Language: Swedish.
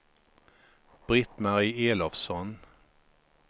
Britt-Marie Elofsson